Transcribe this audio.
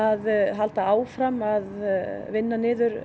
halda áfram að vinna niður